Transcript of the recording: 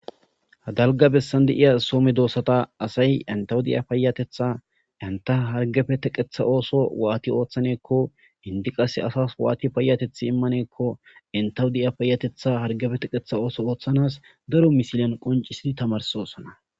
Dalgga bessan deiya soo meddosata asay enttawu diyya payateththa entta harggeppe teqqeththa otho watti oththanako enti qasse asas watti payatetha immanakko enttawu diyya payatetha harggepe teqqetha ootho othanas daaro missilen qonccisi tammarsosona.